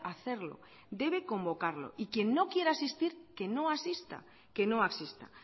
hacerlo debe convocarlo y quien no quiera asistir que no asista que no asista